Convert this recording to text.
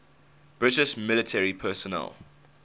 british military personnel